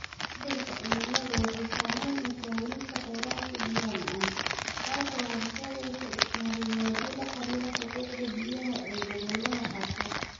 Isbeddelka cimiladu waxay saamaysaa helista kheyraadka biyaha macaan, taasoo horseedda iskahorimaadyo la xiriira xuquuqda biyaha ee gobollada qaarkood.